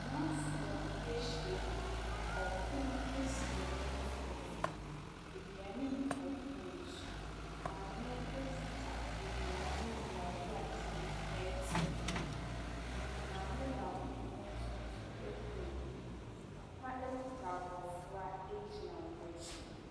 Amanfoɔ ahyiamu. Ɔpono esi ɔmo mfimfini. Aduane gu ɔpono yi so. Maame ekuta aduane yi bi a ɔde atere ɛte bi. Maame baako nso so ekura bi. Papa ekuta abofra egyina ɔmo akyi.